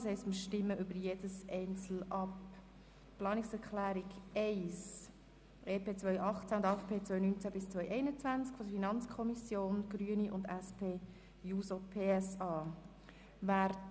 Deshalb stimmen wir einzeln ab, zuerst über die Planungserklärung 1, eingereicht von der FiKo-Minderheit, den Grünen und der SP-JUSO-PSA-Fraktion.